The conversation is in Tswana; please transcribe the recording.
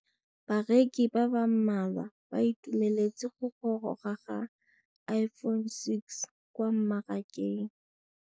Bareki ba ba malwa ba ituemeletse go gôrôga ga Iphone6 kwa mmarakeng.